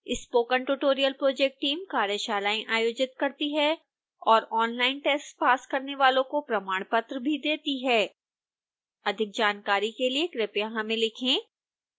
spoken tutorial project team कार्यशालाएं आयोजित करती है और ऑनलाइन टेस्ट पास करने वाले को प्रमाणपत्र भी देते हैं अधिक जानकारी के लिए कृपया हमें लिखें